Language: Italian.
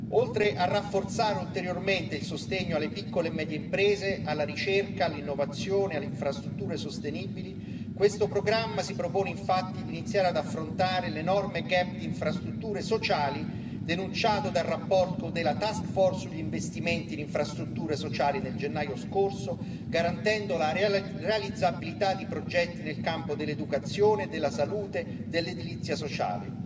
Oltre a rafforzare ulteriormente il sostegno alle piccole e medie imprese, alla ricerca, all'innovazione, alle infrastrutture sostenibili, questo programma si propone infatti di iniziare ad affrontare l'enorme gap di infrastrutture sociali, denunciato dal rapporto della task force sugli investimenti in infrastrutture sociali nel gennaio scorso, garantendo la realizzabilità di progetti nel campo dell'educazione, della salute, dell'edilizia sociale.